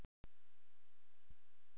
Ertu ekki að tala um fyrsta markið?